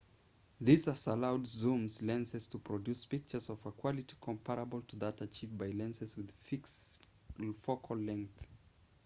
this has allowed zoom lenses to produce pictures of a quality comparable to that achieved by lenses with fixed focal length